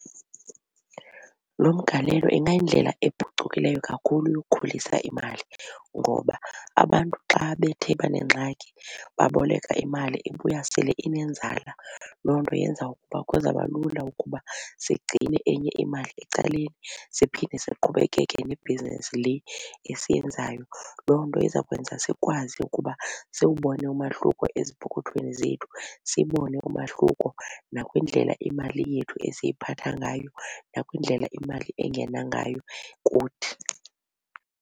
Lo mgalelo ingayindlela ephucukileyo kakhulu yokukhulisa imali ngoba abantu xa bethe banengxaki baboleka imali ibuya sele inenzala. Loo nto yenza ukuba kuzaba lula ukuba sigcine enye imali ecaleni siphinde siqhubekeke nebhizinisi le esiyenzayo. Loo nto iza kwenza sikwazi ukuba siwubone umahluko ezipokothweni zethu siwubone umahluko nakwindlela imali yethu esiyiphatha ngayo nakwindlela imali engena ngayo kuthi.